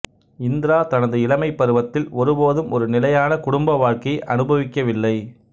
இந்திரா தனது இளமைப்பருவத்தில் ஒருபோதும் ஒரு நிலையான குடும்ப வாழ்க்கையை அனுபவிக்கவில்லை